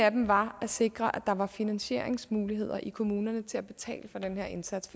af dem var at sikre at der var finansieringsmuligheder i kommunerne til at betale for den her indsats